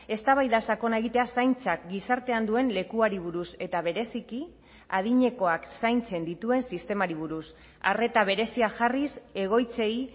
eztabaida sakona egitea zaintzak gizartean duen lekuari buruz eta bereziki adinekoak zaintzen dituen sistemari buruz arreta berezia jarriz egoitzei